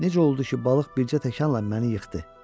Necə oldu ki, balıq bircə təkanla məni yıxdı?